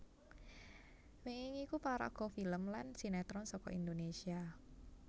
Mi Ing iku paraga film lan sinétron saka Indonésia